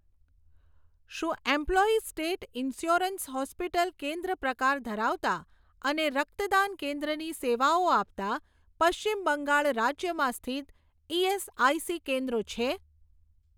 શું employees state insurance hospital કેન્દ્ર પ્રકાર ધરાવતાં અને રક્તદાન કેન્દ્ર ની સેવાઓ આપતાં પશ્ચિમ બંગાળ રાજ્યમાં સ્થિત ઇએસઆઇસી કેન્દ્રો છે?